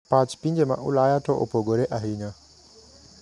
Pach pinje ma ulaya to opogore ahinya.